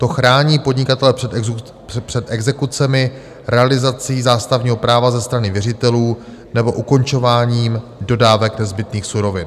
To chrání podnikatele před exekucemi, realizací zástavního práva ze strany věřitelů nebo ukončováním dodávek nezbytných surovin.